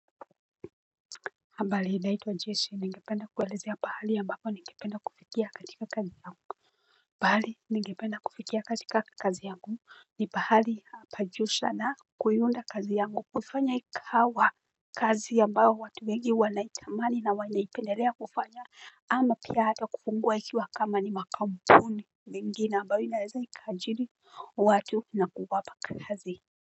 Habari naitwa Jesse ningependa kuwaelezea pahali ambapo ningependa kufikia katika kazi yangu. Pahali ningependa kufikia katika kazi yangu ni pahali hapa jusha na kuiunda kazi yangu kufanya ikawa kazi ambayo watu wengi wanaitamani na wainaipendelea kufanya. Ama pia hata kufungua ikiwa kama ni makampuni mingi na ambayo inaweza ikaajiri watu na kuwapa kazi.